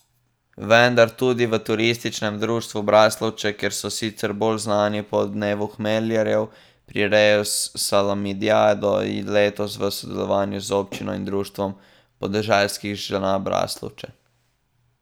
Vendar tudi v Turističnem društvu Braslovče, kjer so sicer bolj znani po dnevu hmeljarjev, prirejajo salamijado, letos v sodelovanju z občino in Društvom podeželskih žena Braslovče.